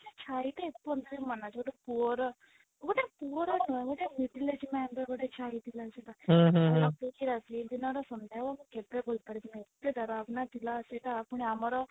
ଛାଇ ଟେ ଏ ପର୍ଯ୍ୟନ୍ତ ମୋର ମନ ଅଛି ଗୋଟେ ପୁଅର ଗୋଟେ ପୁଅର ନୁହଁ ଗୋଟେ middle age man ର ଗୋଟେ ଛାଇ ଥିଲା ସେଇଟା ସେଇଦିନର ସନ୍ଧ୍ୟାବେଳ ମୁଁ କେବେ ଭୁଲି ପରିବି ନାହିଁ ଏତେ ଦରବନା ଥିଲା ସେଇଟା ପୁଣି ଆମର